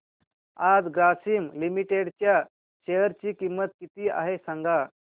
आज ग्रासीम लिमिटेड च्या शेअर ची किंमत किती आहे सांगा